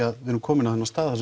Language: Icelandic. að þið eruð komin á þennan stað